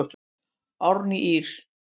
Árna Ý.